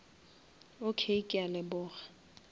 okay ke a leboga